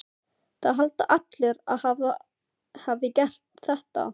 Það halda allir að hann hafi gert þetta.